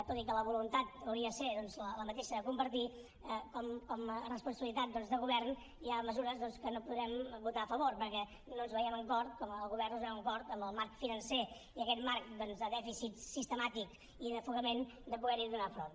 tot i que la voluntat hauria de ser la mateixa de compartir com a responsabilitat de govern hi ha mesures que no podrem votar a favor perquè no ens hi veiem amb cor el govern no es veu amb cor amb el marc financer i aquest marc de dèficit sistemàtic i d’ofegament de poder hi fer front